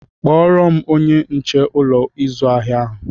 Kpọrọ m onye nche Ụlọ ịzụ ahịa ahụ!